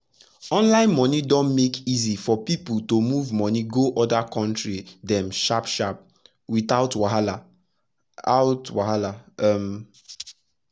online moni don make easy for pipu to move moni go oda country dem sharp sharp wit out wahala out wahala um